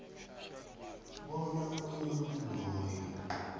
bona umuntu loyo